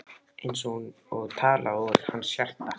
Eins og talað úr hans hjarta.